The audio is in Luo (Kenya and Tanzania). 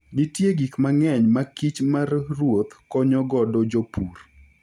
Nitie gik mang'eny ma kich mar ruoth konyo godo jopur.